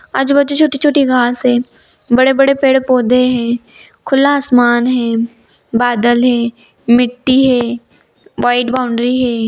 आजु-बाजू छोटी-छोटी घास है बड़े-बड़े पेड़-पौधे है खुला आसमान है बादल है मिट्टी है व्हाइट बाउंड्री है।